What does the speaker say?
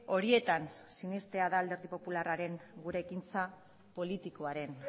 horietan sinestea da alderdi popularraren gure ekintza politikoaren